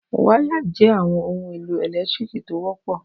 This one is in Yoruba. Wáyà jẹ́ àwọn ohun-èlò ẹ̀lẹ́tíríkì tó wọ́pọ̀.